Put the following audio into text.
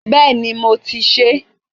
Béèni mo ti sèé